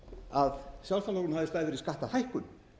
að sjálfstæðisflokkurinn hafi staðið fyrir skattahækkun